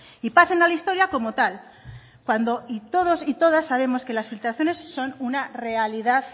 y pasen a la historia como tal cuando todos y todas sabemos que las filtraciones son una realidad